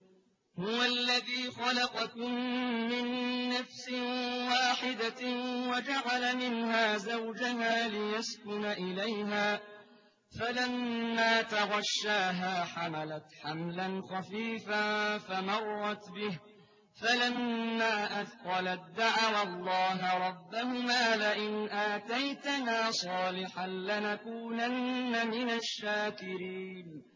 ۞ هُوَ الَّذِي خَلَقَكُم مِّن نَّفْسٍ وَاحِدَةٍ وَجَعَلَ مِنْهَا زَوْجَهَا لِيَسْكُنَ إِلَيْهَا ۖ فَلَمَّا تَغَشَّاهَا حَمَلَتْ حَمْلًا خَفِيفًا فَمَرَّتْ بِهِ ۖ فَلَمَّا أَثْقَلَت دَّعَوَا اللَّهَ رَبَّهُمَا لَئِنْ آتَيْتَنَا صَالِحًا لَّنَكُونَنَّ مِنَ الشَّاكِرِينَ